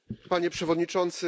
Panie Przewodniczący!